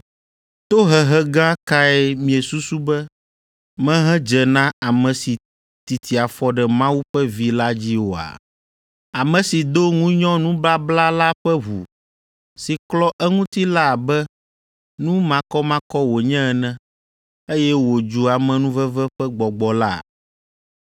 Tohehe gã kae miesusu be mehedze na ame si titi afɔ ɖe Mawu ƒe Vi la dzi oa? Ame si do ŋunyɔ nubabla la ƒe ʋu si klɔ eŋuti la abe nu makɔmakɔ wònye ene, eye wòdzu amenuveve ƒe Gbɔgbɔ la?